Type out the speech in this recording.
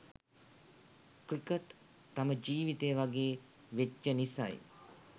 Cricket තම ජීවිතය වගේ වෙච්ච නිසයි.